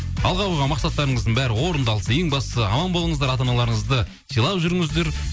алға қойған мақсаттарыңыздың бәрі орындалсын ең бастысы аман болыңыздар ата аналарыңызды сыйлап жүріңіздер